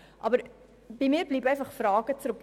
Bei mir bleiben jedoch Fragen zurück.